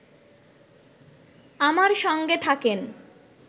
আমার সঙ্গে থাকেন